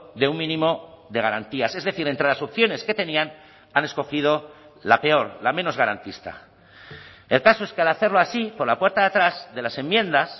de un mínimo de garantías es decir entre las opciones que tenían han escogido la peor la menos garantista el caso es que al hacerlo así por la puerta de atrás de las enmiendas